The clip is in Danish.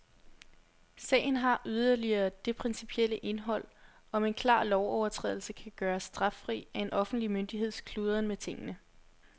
Sagen har yderligere det principielle indhold, om en klar lovovertrædelse kan gøres straffri af en offentlig myndigheds kludren med tingene.